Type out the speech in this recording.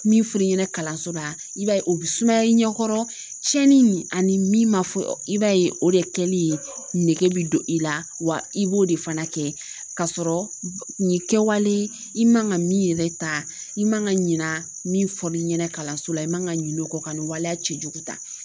Min fɔr'i ɲɛna kalanso la i b'a ye o bɛ sumaya i ɲɛkɔrɔ tiɲɛni ani min ma fɔ i b'a ye o de kɛli nege bɛ don i la wa i b'o de fana kɛ kasɔrɔ nin kɛwale i man ka min yɛrɛ ta i man ka ɲina min f'i ɲɛna kalanso la i man ka ɲin'o kɔ ka nin waleya cɛjugu ta